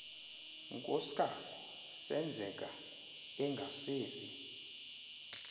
nkosikaz senzeka engasezi